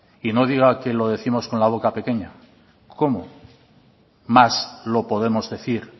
y no diga que lo décimos con la boca pequeña cómo más lo podemos decir